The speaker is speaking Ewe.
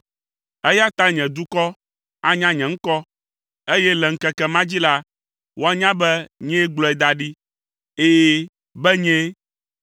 eya ta nye dukɔ anya nye ŋkɔ, eye le ŋkeke ma dzi la, woanya be nyee gblɔe da ɖi. Ɛ̃, be nyee.”